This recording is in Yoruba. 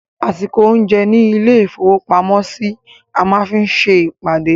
Àsìkò oúnjẹ ní ilé-ìfowópamọ́sí, a máa fi se ìpàdé.